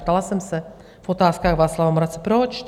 Ptala jsem se v otázkách Václava Moravce: proč?